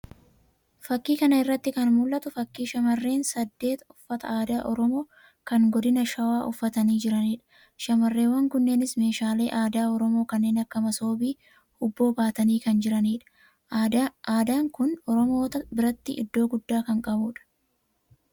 fakii kan irratti kan mul'atu fakii shamarreen saddeet uffata aadaa Oromoo kan Godina Shawaa uffatanii jiranidha. shamarreewwan kunis meeshaalee aadaa Oromoo kanneen akka masoobii fi huubboo baatanii kan jiranidha. Adaan kun Oromoota biratti iddoo guddaa kan qabudha.